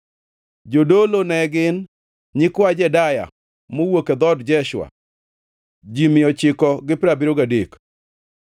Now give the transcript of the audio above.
Jodolo ne gin: nyikwa Jedaya (mowuok e dhood Jeshua), ji mia ochiko gi piero abiriyo gadek (973),